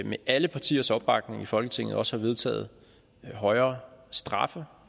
med alle partiers opbakning i folketinget også har vedtaget højere straffe